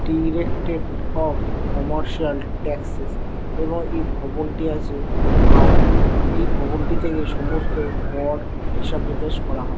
Directed of commercial taxes এবং এই ভবনটি আছে হাওড়ায়। এই ভবনটি থেকে সমস্ত কর হিসাব নিকাশ করা হয়।